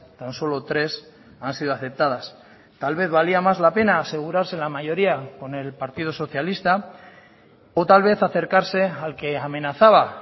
tan solo tres han sido aceptadas tal vez valía más la pena asegurarse la mayoría con el partido socialista o tal vez acercarse al que amenazaba